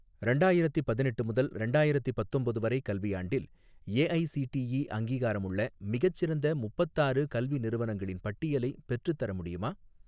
ரெண்டாயிரத்தி பதினெட்டு முதல் ரெண்டாயிரத்தி பத்தொம்போது வரை கல்வியாண்டில் ஏஐஸிடிஇ அங்கீகாரமுள்ள மிகச்சிறந்த முப்பத்தாறு கல்வி நிறுவனங்களின் பட்டியலை பெற்றுத்தர முடியுமா